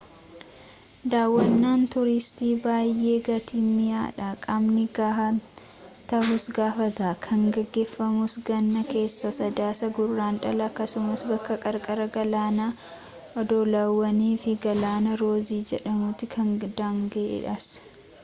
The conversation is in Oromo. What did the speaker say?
daawwannaan tuuristii baayee gatiin mi'aa dha qaamni ga'aa ta'uus gaafata kan geggeeffamus ganna keessa sadaasaa-guraandhala akkasuma bakka qarqara galaanaa oddolawwan fi galaana roozii jedhamutti kan daanga'eedhas